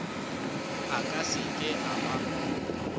a ka seke a ba